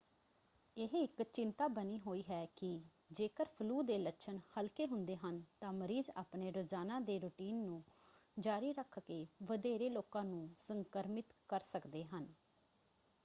ਇਹ ਇੱਕ ਚਿੰਤਾ ਬਣੀ ਹੋਈ ਹੈ ਕਿ ਜੇਕਰ ਫਲੂ ਦੇ ਲੱਛਣ ਹਲਕੇ ਹੁੰਦੇ ਹਨ ਤਾਂ ਮਰੀਜ਼ ਆਪਣੇ ਰੋਜ਼ਾਨਾ ਦੇ ਰੁਟੀਨ ਨੂੰ ਜਾਰੀ ਰੱਖਕੇ ਵਧੇਰੇ ਲੋਕਾਂ ਨੂੰ ਸੰਕ੍ਰਮਿਤ ਕਰ ਸਕਦੇ ਹਨ।